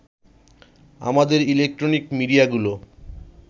আমাদের ইলেকট্রনিক মিডিয়াগুলো